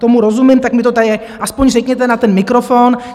Tomu rozumím, tak mi to tady aspoň řekněte na ten mikrofon.